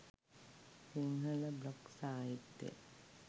Sinhala blog සාහිත්‍යය